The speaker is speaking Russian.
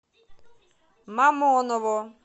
мамоново